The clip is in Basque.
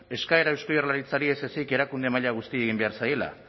eskaera eusko jaurlaritzari ez ezik erakunde maila guztiei egin behar zaiela